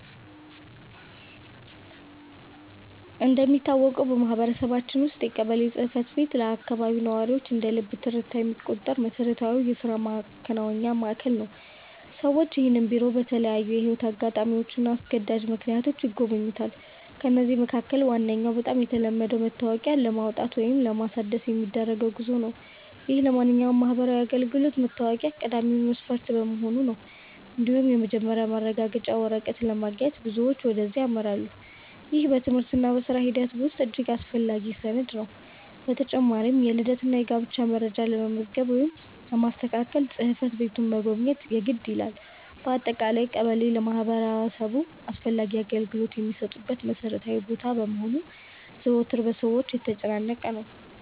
እንደሚታወቀው በማህበረሰባችን ውስጥ የቀበሌ ጽሕፈት ቤት ለአካባቢው ነዋሪዎች እንደ ልብ ትርታ የሚቆጠር መሠረታዊ የሥራ ማከናወኛ ማዕከል ነው። ሰዎች ይህንን ቢሮ በተለያዩ የሕይወት አጋጣሚዎችና አስገዳጅ ምክንያቶች ይጎበኙታል። ከነዚህም መካከል ዋነኛውና በጣም የተለመደው መታወቂያ ለማውጣት ወይም ለማሳደስ የሚደረገው ጉዞ ነው፤ ይህም ለማንኛውም ማህበራዊ አገልግሎት መታወቂያ ቀዳሚ መስፈርት በመሆኑ ነው። እንዲሁም የመኖሪያ ማረጋገጫ ወረቀት ለማግኘት ብዙዎች ወደዚያ ያመራሉ፤ ይህም በትምህርትና በሥራ ሂደት ውስጥ እጅግ አስፈላጊ ሰነድ ነው። በተጨማሪም የልደትና የጋብቻ መረጃ ለመመዝገብ ወይም ለማስተካከል ጽሕፈት ቤቱን መጎብኘት የግድ ይላል። በአጠቃላይ ቀበሌ ለማህበረሰቡ አስፈላጊ አገልግሎቶች የሚሰጡበት መሠረታዊ ቦታ በመሆኑ ዘወትር በሰዎች የተጨናነቀ ነው።